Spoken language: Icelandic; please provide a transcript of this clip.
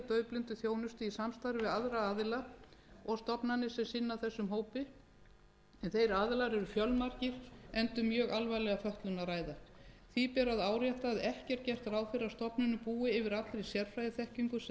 daufblindum þjónustu í samstarfi við aðra aðila og stofnanir sem sinna þessum hópi en þeir aðilar eru fjölmargir enda um mjög alvarlega fötlun að ræða því ber að árétta að ekki er gert ráð fyrir að stofnunin búi yfir allri sérfræðiþekkingu sem þarf til